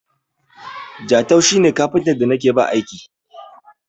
Jatau shi ne kafintan da na ke ba aiki.